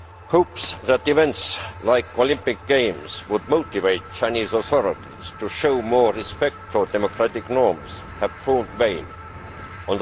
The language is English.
Hopes that events like the Olympic Games would motivate the Chinese authorities to show more respect for democratic norms have proven to be in vain.